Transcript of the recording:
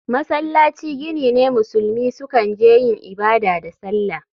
Masallaci gini ne musulmi sukan je yin ibada da sallah.